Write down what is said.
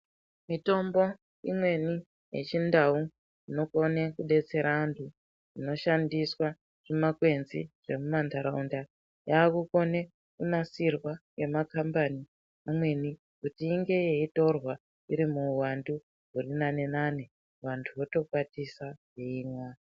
Mitombo wechibhoyi unonakira pakuti unondopinda mushango wondokwara wondouya wondotsengera mwana womwa wapedza kutsengera mwana utomira nekuhudha, manyoka emwana anonyarara.